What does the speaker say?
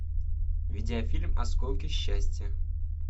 видеофильм осколки счастья